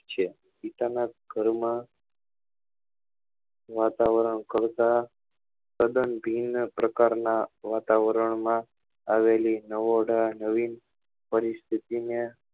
છે પિતા ના ઘર માં વાતાવરણ કરતા તદ્દન ભિન્ન પ્રકાર ના વાતાવરણ માં આવેલી નવોઢા નવીન પરિસ્થિતિ